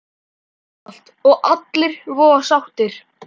Einfalt og allir voða sáttir!